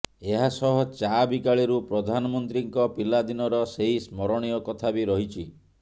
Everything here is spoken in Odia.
ଏହା ସହ ଚା ବିକାଳିରୁ ପ୍ରଧାନମନ୍ତ୍ରୀଙ୍କ ପିଲା ଦିନର ସେହି ସ୍ମରଣୀୟ କଥା ବି ରହିଛି